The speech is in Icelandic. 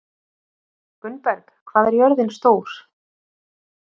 Gunnberg, hvað er jörðin stór?